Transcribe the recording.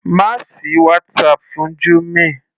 Má sì WhatsApp fún Jummy.